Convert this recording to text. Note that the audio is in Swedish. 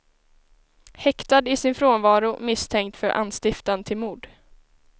Häktad i sin frånvaro misstänkt för anstiftan till mord.